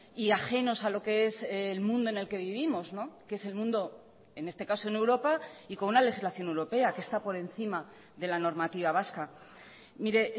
y ajenos a lo que es el mundo en el que vivimos que es el mundo en este caso en europa y con una legislación europea que está por encima de la normativa vasca mire